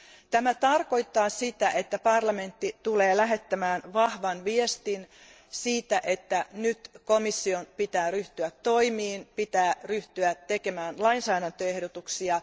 Tämä tarkoittaa sitä, että parlamentti tulee lähettämään vahvan viestin siitä, että nyt komission pitää ryhtyä toimiin, pitää ryhtyä tekemään lainsäädäntöehdotuksia.